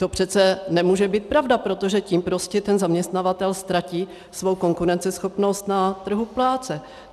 To přece nemůže být pravda, protože tím prostě ten zaměstnavatel ztratí svou konkurenceschopnost na trhu práce.